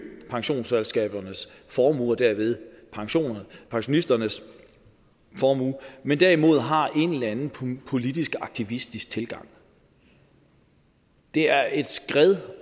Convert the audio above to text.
pensionsselskabernes formue og derved pensionisternes formue men derimod har en eller anden politisk aktivistisk tilgang det er et skred